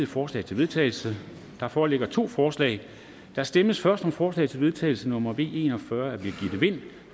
forslag til vedtagelse der foreligger to forslag der stemmes først om forslag til vedtagelse nummer v en og fyrre af birgitte vind